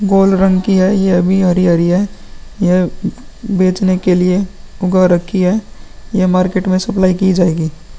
गोल रंग की है। ये अभी हरी-हरी है। यह बेचने के लिए ऊगा रखी है। ये मार्केट में सप्लाई की जायेगी।